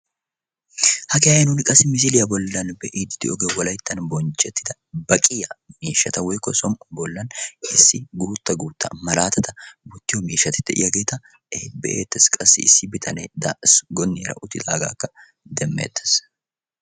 hagee ha'i nuun qassi misiliyaa bollan be'iide de'iyooge wolayttan bonchcetida baqqiyaa miishshata woykko soon bollan guutta guutta malaatata wottiyo miishshati de'iyaageeta be'ettees. qassi issi bitanee gonniyaara uttidaagagkka demmettees.